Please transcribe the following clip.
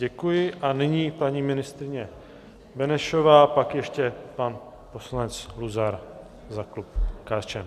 Děkuji a nyní paní ministryně Benešová, pak ještě pan poslanec Luzar za klub KSČM.